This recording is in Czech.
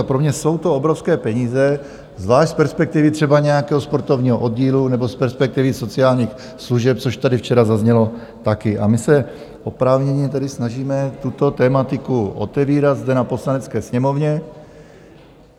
A pro mě jsou to obrovské peníze, zvlášť z perspektivy třeba nějakého sportovního oddílu nebo z perspektivy sociálních služeb, což tady včera zaznělo taky, a my se oprávněně tedy snažíme tuto tematiku otevírat zde na Poslanecké sněmovně.